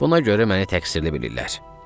Buna görə məni təqsirli bilirlər.